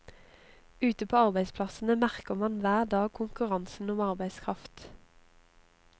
Ute på arbeidsplassene merker man hver dag konkurransen om arbeidskraft.